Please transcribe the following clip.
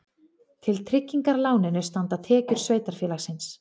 Til tryggingar láninu standa tekjur sveitarfélagsins